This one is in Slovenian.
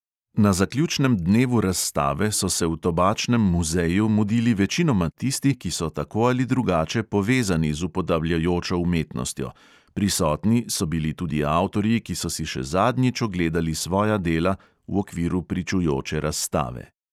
Na zaključnem dnevu razstave so se v tobačnem muzeju mudili večinoma tisti, ki so tako ali drugače povezani z upodabljajočo umetnostjo, prisotni so bili tudi avtorji, ki so si še zadnjič ogledali svoja dela v okviru pričujoče razstave.